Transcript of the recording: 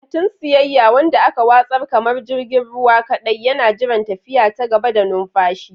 Katin siyayya, wanda aka watsar kamar jirgin ruwa kadai, yana jiran tafiya ta gaba da numfashi.